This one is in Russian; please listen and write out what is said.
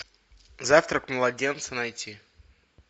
завтрак младенца найти